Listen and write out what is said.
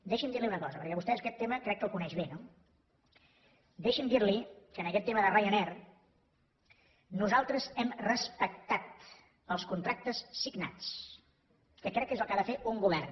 deixi’m dir li una cosa perquè vostè aquest tema crec que el coneix bé no deixi’m dir li que en aquest tema de ryanair nosaltres hem respectat els contractes signats que crec que és el que ha de fer un govern